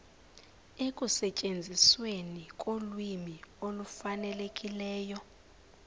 ekusetyenzisweni kolwimi olufanelekileyo